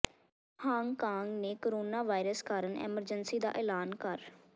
Hong Kong ਨੇ corona virus ਕਾਰਨ emergency ਦਾ ਐਲਾਨ ਕਰ